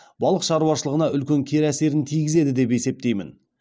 балық шаруашылығына үлкен кері әсерін тигізеді деп есептеймін